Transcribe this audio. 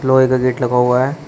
लोहे का गेट लगा हुआ है।